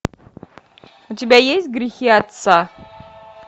у тебя есть грехи отца